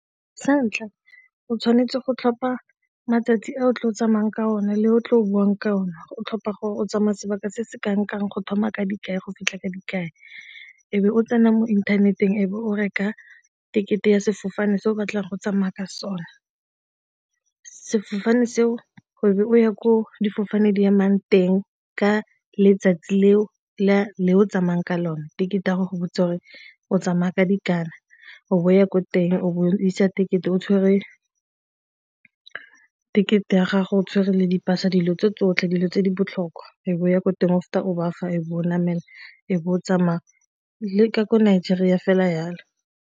Sa ntlha o tshwanetse go tlhopha matsatsi a o tle o tsamayang ka o na le o tle o bonang ka o ne o tlhopha gore o tsamaya sebaka se se ka re go thoma ka dikai go fitlha kang-kang ebe o tsena mo inthaneteng e be o reka ticket-e ya sefofane se o batlang go tsamaya ka sona sefofane seo o be o ya ko difofane di emang teng ka letsatsi leo le o tsamayang ka lone, di gore go go o tsamaya ka dikana o ya ko teng, o isa tekete, o tshwere tekete ya gago o tshwere le dipasa, dilo tse tsotlhe dilo tse di botlhokwa e be o ya ko teng mme o bafa e be o namela e be o tsamaya le ka ko Nigeria fela jalo.